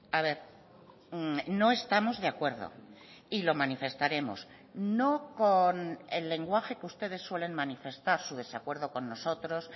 a ver no estamos de acuerdo y lo manifestaremos no con el lenguaje que ustedes suelen manifestar su desacuerdo con nosotros